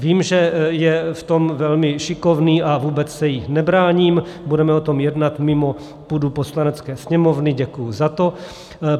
Vím, že je v tom velmi šikovný a vůbec se jí nebráním, budeme o tom jednat mimo půdu Poslanecké sněmovny, děkuji za to.